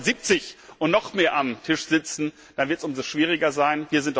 Aber wenn dort 170 und noch mehr am Tisch sitzen, dann wird es umso schwieriger sein.